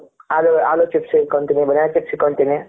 ಆಲು ಆಲು chips ಇಟ್ಟಕೊಳ್ತೀನಿ banana chips ಇಟ್ಟಕೊಳ್ತೀನಿ.